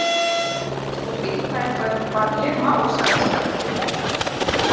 Þykist þú vita eitthvað um það hvað ég má, sagði Skapti ógnandi.